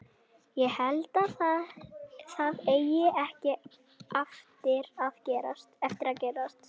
Ég held að það eigi ekki eftir að gerast.